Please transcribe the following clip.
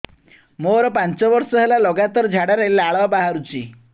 ମୋରୋ ପାଞ୍ଚ ବର୍ଷ ହେଲା ଲଗାତାର ଝାଡ଼ାରେ ଲାଳ ବାହାରୁଚି